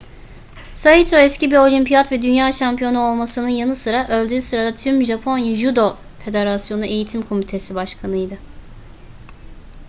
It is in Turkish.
saito eski bir olimpiyat ve dünya şampiyonu olmasının yanı sıra öldüğü sırada tüm japonya judo federasyonu eğitim komitesi başkanıydı